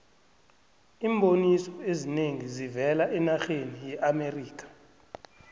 iimboniso ezinengi zivela enarheni yeamerikha